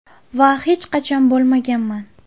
Va hech qachon bo‘lmaganman.